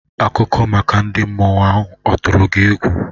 Akụkọ maka ndị mmụọ ahụ ọ tụrụ gị egwu?